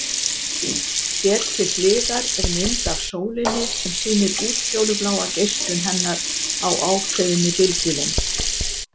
Hér til hliðar er mynd af sólinni sem sýnir útfjólubláa geislun hennar á ákveðinni bylgjulengd.